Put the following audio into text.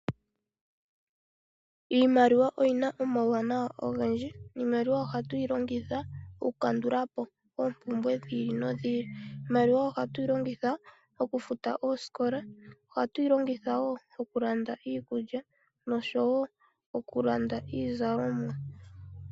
Iimaliwa oyina omauwanawa ogendji. Iimaliwa ohatu yi longitha okulandapo oompumbwe dhiili nodhili . Iimaliwa ohatu yi longitha okufuta oosikola . Ohatu yi longitha wo okulanda iikulya niizalomwa.